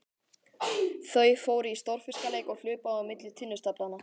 Þau fóru í stórfiskaleik og hlupu á milli tunnustaflanna.